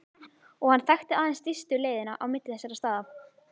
Og hann þekkti aðeins stystu leiðina á milli þessara staða.